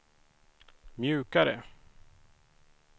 mjukare